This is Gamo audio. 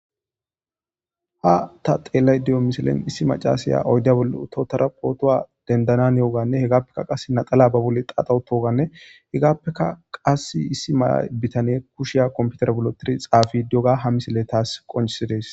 Ha ta xelayida do7o misiley issi machasy oyida bolla utada phota dinidanawu hanewugane qasika laxana baboli xaxa utogane hegapeka qasi issi bitaney kushay kopiteray bolla wotidi xapishe do7oga ha misiley tas qonciside7es